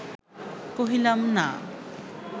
কহিলাম না